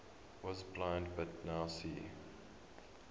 was blind but now see